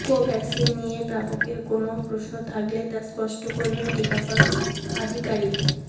কোভ্যাক্সিন নিয়ে প্রাপকের কোনও প্রশ্ন থাকলে তা স্পষ্ট করবেন টিকাকরণ আধিকারিক